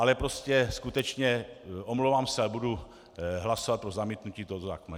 Ale prostě skutečně, omlouvám se, ale budu hlasovat pro zamítnutí tohoto zákona.